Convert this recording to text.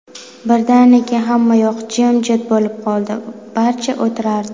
Birdaniga hammayoq jimjit bo‘lib qoldi, barcha o‘tirardi.